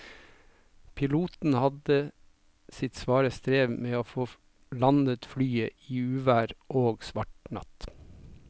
Piloten hadde sitt svare strev med å få landet flyet i uvær og svart natt.